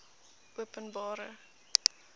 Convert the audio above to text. openbare